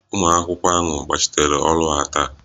Ụmụ akwụkwọ ahụ gbachiteere ọrụ ha taa